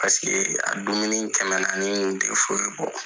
Paseke a dumuni kɛmɛnani tun tɛ foyi bɔ.